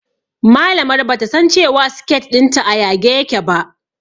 Malamar bata san cewa siket ɗinta a yage yake ba